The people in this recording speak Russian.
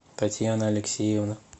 татьяна алексеевна